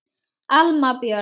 Alma Björk.